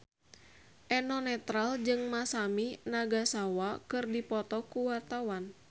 Eno Netral jeung Masami Nagasawa keur dipoto ku wartawan